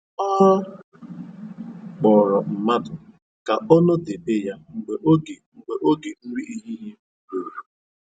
Ọ kpọrọ mmadụ ka ọ nọdebe ya mgbe oge mgbe oge nri ehihie ruru